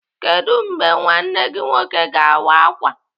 Kedụ mgbe nwanne gị nwoke ga-awa ákwà?